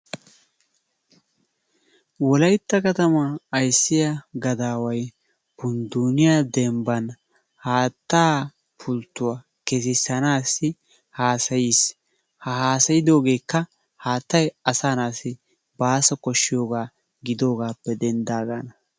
Wolaytta katamaa ayssiyaa gadaaway pundduniyaa dembbaan haattaa pulttuwaa keessisanaasi haasayiis. Ha hasayidoogekka haattay asaa na'aasi baaso koshshiyoogaa gidagaappe denddaagaana.